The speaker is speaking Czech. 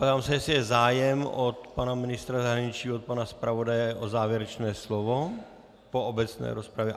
Ptám se, jestli je zájem od pana ministra zahraničí, od pana zpravodaje o závěrečné slovo po obecné rozpravě.